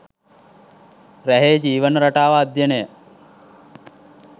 රැහේ ජීවන රටාව අධ්‍යයනය